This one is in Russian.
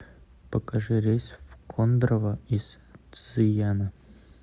покажи рейс в кондрово из цзыяна